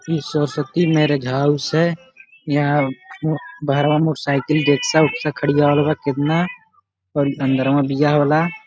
ई ससत्ती marriage house है। यहाँ बाहरवा मोटरसाइकिल रेक्सा उक्सा खडियावल बा केतना और अंदरवा बियाह होला।